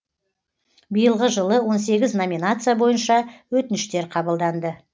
биылғы жылы он сегіз номинация бойынша өтініштер қабылданды